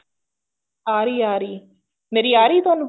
ਆ ਰਹੀ ਹੈ ਆ ਰਹੀ ਹੈ ਮੇਰੀ ਆ ਰਹੀ ਹੈ ਤੁਹਾਨੂੰ